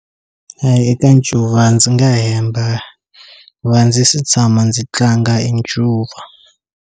A eka ncuva ndzi nga hemba a ndzi se tshama ndzi tlanga e ncuva.